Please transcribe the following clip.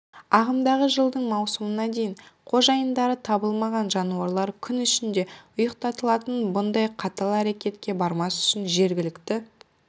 ағымдағы жылдың маусымына дейін қожайындары табылмаған жануарлар күн ішінде ұйықтатылатын бұндай қатал әрекетке бармас үшін жергілікті